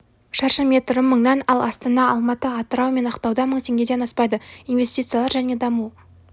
шаршы метрі мыңнан ал астана алматы атырау мен ақтауда мың теңгеден аспайды инвестициялар және даму